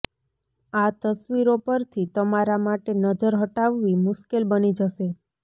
આ તસવીરો પરથી તમારા માટે નજર હટાવવી મુશ્કેલ બની જશે